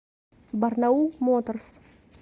барнаул моторс